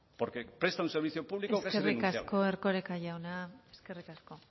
porque presta un servicio público que es irrenunciable eskerrik asko erkoreka jauna eskerrik asko